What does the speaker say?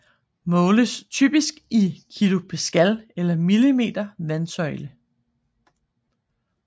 Måles typisk i kilopascal eller millimeter vandsøjle